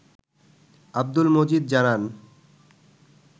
আব্দুল মজিদ জানান